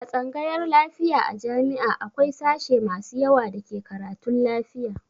A tsangayar lafiya a jami'a akwai sashe masu yawa da ke karatun lafiya.